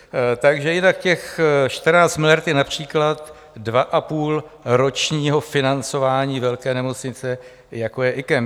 Takže jinak těch 14 miliard je například dva a půl ročního financování velké nemocnice, jako je IKEM.